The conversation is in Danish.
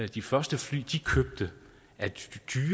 de første fly de købte